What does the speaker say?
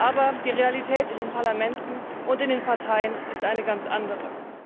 Aber die Realität in den Parlamenten und in den Parteien ist eine ganz andere.